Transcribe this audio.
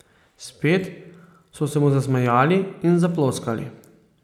Spet so se mu zasmejali in zaploskali.